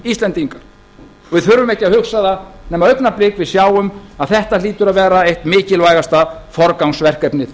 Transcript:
íslendingar og við þurfum ekki að hugsa það nema augnablik við sjáum að þetta hlýtur að vera eitt mikilvægasta forgangsverkefnið